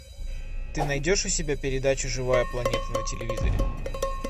ты найдешь у себя передачу живая планета на телевизоре